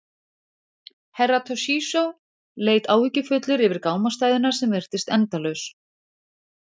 Herra Toshizo leit áhyggjufullur yfir gámastæðuna sem virtist endalaus.